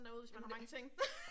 Jamen det